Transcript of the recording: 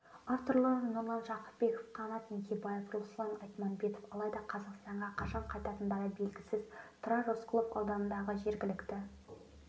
авторлары нұрлан жақыпбеков қанат еңсебаев руслан айтманбетов алайда қазақстанға қашан қайтатындары белгісіз тұрар рысқұлов ауданындағы жергілікті